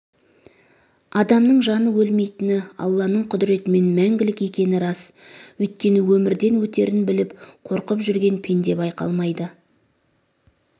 адамның жаны өлмейтіні алланың құдіретімен мәңгілік екені рас өйткені өмірден өтерін біліп қорқып жүрген пенде байқалмайды